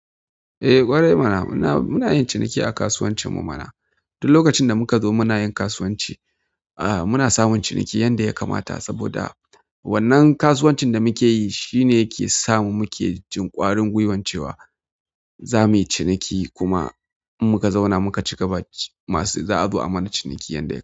Eh ƙwarai mana, muna yin ciniki a kasuwancin mu mana. Duk lokacin da muka zo muna yin kasuwanci, ah muna samun ciniki yanda ya kamata saboda wannan kasuwancin da muke yi shine yake sa muke jin ƙwarin gwiwan cewa za muyi ciniki kuma in muka zauna muka cigaba masu za a zo a mana ciniki yanda.